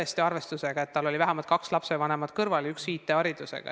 See tõesti eeldas, et tal oli kaks lapsevanemat kõrval ja üks neist IT-haridusega.